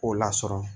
K'o lasɔrɔ